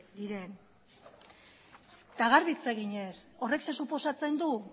diren garbi hitz eginez horrek zer suposatzen du